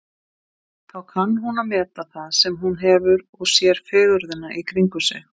Þá kann hún að meta það sem hún hefur og sér fegurðina í kringum sig.